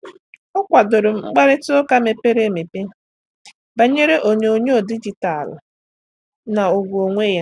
Ọ́ kwàdòrò mkparịta ụka mepere emepe banyere onyonyo dijitalụ na ùgwù onwe ya.